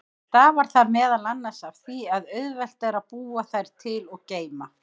Stafar það meðal annars af því að auðvelt er að búa þær til og geyma.